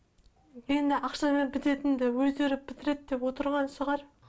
мені ақшамен бітетінді өздері бітіреді деп отырған шығар